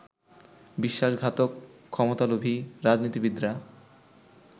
বিশ্বাসঘাতক ক্ষমতালোভী রাজনীতিবিদরা